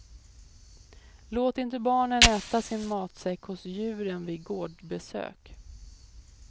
Låt inte barnen äta sin matsäck hos djuren vid gårdsbesök.